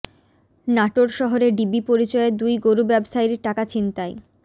নাটোর শহরে ডিবি পরিচয়ে দুই গরু ব্যবসায়ীর টাকা ছিনতাই